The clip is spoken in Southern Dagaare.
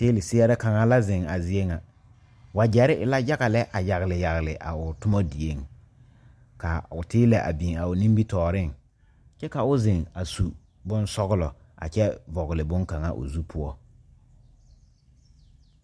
Teeli seɛɛrɛ kaŋa la zeŋ a zie ŋa wagyɛrre e la yaga lɛ a yagle yagle a o tomma dieŋ kaa o teelɛ a biŋ a o nimitooreŋ kyɛ ka o zeŋ a su bonsɔglɔ a kyɛ vɔgle bonkaŋ o zu poɔ.